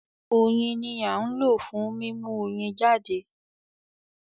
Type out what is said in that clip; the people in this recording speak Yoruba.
Oyin ni à ń lò fún mímú Oyin jáde